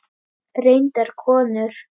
Reyndar konur.